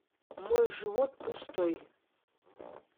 мой живот пустой